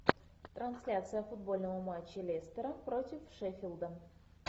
трансляция футбольного матча лестера против шеффилда